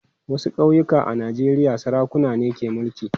Wasu ƙauyuka a Najeriya sarakuna ne ke mulki.